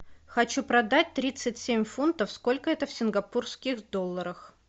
хочу продать тридцать семь фунтов сколько это в сингапурских долларах